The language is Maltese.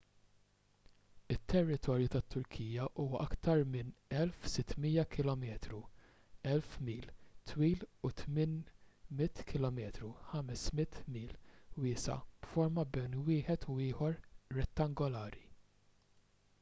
it-territorju tat-turkija huwa aktar minn 1,600 kilometru 1,000 mil twil u 800 km 500 mil wiesa' b'forma bejn wieħed u ieħor rettangolari